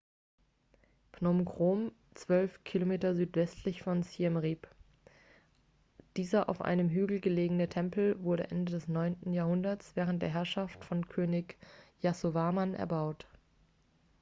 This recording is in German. phnom krom 12 km südwestlich von siem reap dieser auf einem hügel gelegene tempel wurde ende des 9. jahrhunderts während der herrschaft von könig yasovarman erbaut